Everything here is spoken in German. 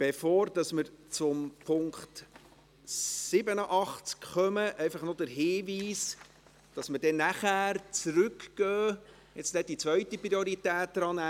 Bevor wir zum Traktandum 87 kommen, einfach noch der Hinweis, dass wir nachher zurückgehen und die Geschäfte der zweiten Priorität drannehmen.